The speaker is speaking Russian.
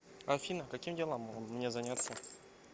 афина каким делом мне заняться